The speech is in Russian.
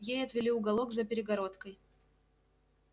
ей отвели уголок за перегородкой